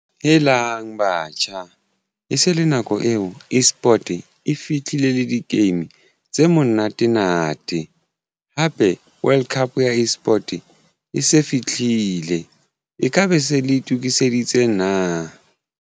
Helang, batjha e se le nako eo eSport e fitlhile le di-game tse monate na World Cup ya eSport e se fihlile e ka be se le itokiseditse na?